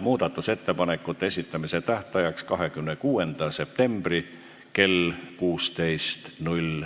muudatusettepanekute esitamise tähtajaks 26. septembri kell 16.